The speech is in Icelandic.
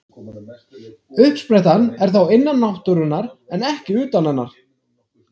Uppsprettan er þá innan náttúrunnar en ekki utan hennar.